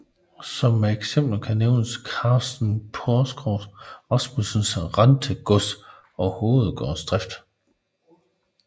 Som eksempel kan nævnes Carsten Porskrog Rasmussens Rentegods og hovedgårdsdrift